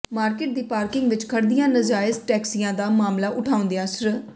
market ਦੀ parking ਵਿੱਚ ਖੜਦੀਆਂ ਨਾਜਾਇਜ ਟੈਕਸੀਆਂ ਦਾ ਮਾਮਲਾ ਉਠਾਉਂਦਿਆਂ ਸ੍ਰ